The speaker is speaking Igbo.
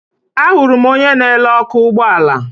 Ahụrụ m onye na-ere ọkụ ụgbọala